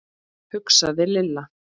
hugsaði Lilla.